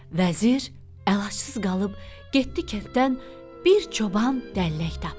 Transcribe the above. Vəzir əlacısız qalıb getdi kənddən bir çoban dəllək tapdı.